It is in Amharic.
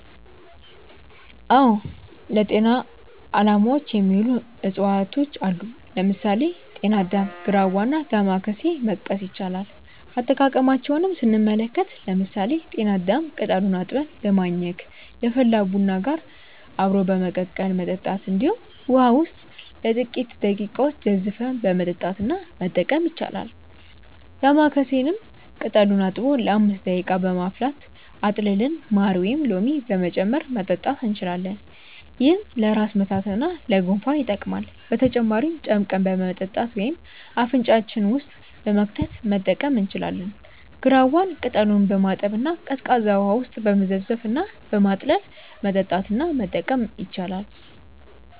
አዎ ለጤና አላማዎች የሚውሉ እፅዋቶች አሉ። ለምሳሌ: ጤና አዳም፣ ግራዋ እና ዳማከሴ መጥቀስ ይቻላል። አጠቃቀማቸውንም ስንመለከት ለምሳሌ ጤና አዳምን ቅጠሉን አጥበን በማኘክ፣ የፈላ ቡና ጋር አብሮ በመቀላቀል መጠጣት እንዲሁም ውሃ ውስጥ ለጥቂተረ ደቂቃዎች ዘፍዝፈን በመጠጣት እና መጠቀም ይቻላል። ዳማከሴንም ቅጠሉን አጥቦ ለ5 ደቂቃ በማፍላት አጥልለን ማር ወይም ሎሚ በመጨመር መጠጣት እንችላለን። ይህም ለራስ ምታት እና ለጉንፋን ይጠቅማል። በተጨማሪም ጨምቀን በመጠጣት ወይም አፍንጫችን ውስጥ በመክተት መጠቀም እንችላለን። ግራዋን ቅጠሉን በማጠብ እና ቀዝቃዛ ውሃ ውስጥ በመዘፍዘፍ እና በማጥለል መጠጣት እና መጠቀም ይቻላል።